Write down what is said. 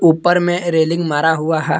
ऊपर में रेलिंग मारा हुआ है।